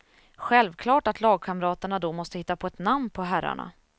Självklart att lagkamraterna då måste hitta på ett namn på herrarna.